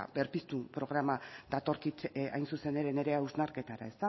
berpiztu programa datorkit hain zuzen ere nire hausnarketara